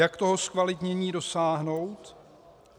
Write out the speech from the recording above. Jak toho zkvalitnění dosáhnout?